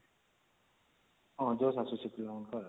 ହଁ josh ଆସୁଛି ପିଲାଙ୍କର